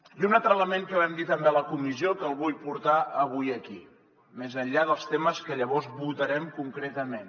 i un altre element que vam dir també a la comissió que el vull portar avui aquí més enllà dels temes que llavors votarem concretament